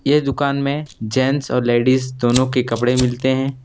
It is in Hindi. ये दुकान में जेंट्स और लेडीस दोनों के कपड़े मिलते हैं।